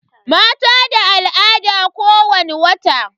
Mata da al'ada kowani wata.